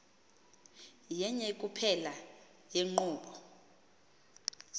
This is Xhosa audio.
yenye kuphela yeenkqubo